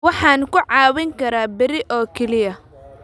Waxaan ku caawin karaa berri oo keliya